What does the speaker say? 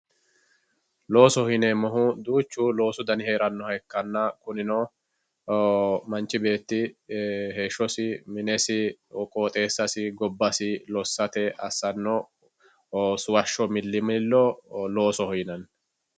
Loosoho yineemmohu babbaxxitino dani loosi hee'rannoha ikkanna kunino, machu beetti minesi qooxeessasi gobbasi lossirara assanno suwashsho millimillo loosoho yinanni.